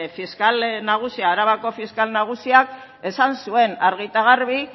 arabako fiskal nagusiak esan zuen argi eta garbi